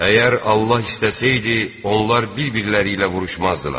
Əgər Allah istəsəydi, onlar bir-birləri ilə vuruşmazdılar.